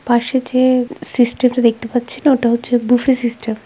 পাশে যে সিস্টেম টা দেখতে পাচ্ছি না ওটা হচ্ছে বুফে সিস্টেম ।